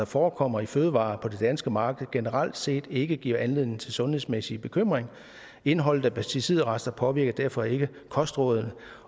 forekommer i fødevarer på det danske marked generelt set ikke giver anledning til sundhedsmæssige bekymringer indholdet af pesticidrester påvirker derfor ikke kostrådet